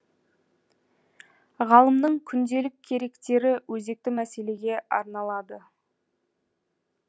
ғалымның күнделік керектері өзекті мәселеге арналады